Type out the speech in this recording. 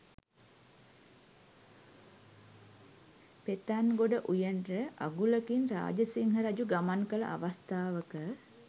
පෙතන්ගොඩ උයනට අගුලකින් රාජසිංහ රජු ගමන් කළ අවස්ථාවක